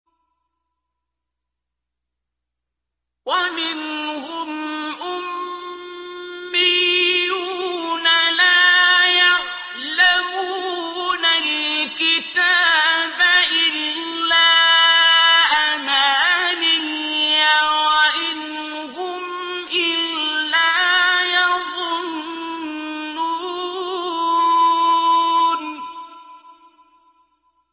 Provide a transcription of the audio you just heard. وَمِنْهُمْ أُمِّيُّونَ لَا يَعْلَمُونَ الْكِتَابَ إِلَّا أَمَانِيَّ وَإِنْ هُمْ إِلَّا يَظُنُّونَ